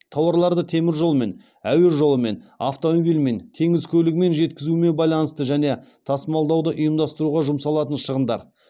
тауарларды теміржолмен әуе жолымен автомобильмен теңіз көлігімен жеткізумен байланысты және тасымалдауды ұйымдастыруға жұмсалатын шығындар